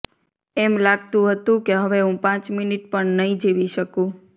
એમ લાગતું હતું કે હવે હું પાંચ મિનિટ પણ જીવી નહીં શકું